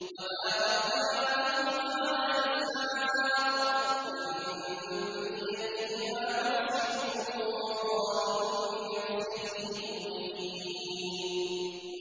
وَبَارَكْنَا عَلَيْهِ وَعَلَىٰ إِسْحَاقَ ۚ وَمِن ذُرِّيَّتِهِمَا مُحْسِنٌ وَظَالِمٌ لِّنَفْسِهِ مُبِينٌ